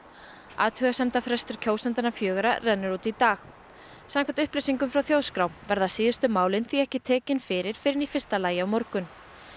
athugasemdafrestur kjósendanna fjögurra rennur út í dag samkvæmt upplýsingum frá Þjóðskrá verða síðustu málin því ekki tekin fyrir fyrr en í fyrsta lagi á morgun